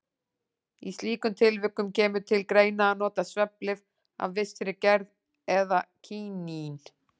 Í slíkum tilvikum kemur til greina að nota svefnlyf af vissri gerð eða kínín.